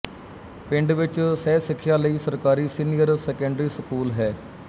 ਪਿੰਡ ਵਿੱਚ ਸਹਿਸਿੱਖਿਆ ਲਈ ਸਰਕਾਰੀ ਸੀਨੀਅਰ ਸੈਕੰਡਰੀ ਸਕੂਲ ਹੈ